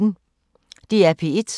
DR P1